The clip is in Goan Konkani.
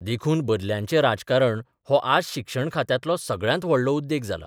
देखून बदल्यांचें राजकारण हो आज शिक्षण खात्यांतलो सगळ्यांत व्हडलो उद्येग जाला.